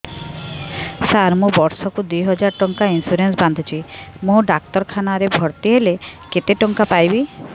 ସାର ମୁ ବର୍ଷ କୁ ଦୁଇ ହଜାର ଟଙ୍କା ଇନ୍ସୁରେନ୍ସ ବାନ୍ଧୁଛି ମୁ ଡାକ୍ତରଖାନା ରେ ଭର୍ତ୍ତିହେଲେ କେତେଟଙ୍କା ପାଇବି